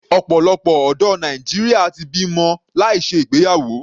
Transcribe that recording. Ọ̀pọ̀lọpọ̀ ọ̀dọ́ Nàìjíríà ti bímọ láì ṣe ìgbéyàwó.